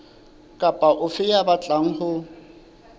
kapa ofe ya batlang ho